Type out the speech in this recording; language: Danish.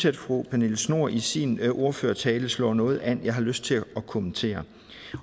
at fru pernille schnoor i sin ordførertale slår noget an jeg har lyst til at kommentere